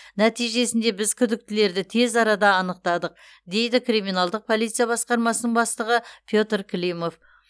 нәтижесінде біз күдіктілерді тез арада анықтадық дейді криминалдық полиция басқармасының бастығы петр климов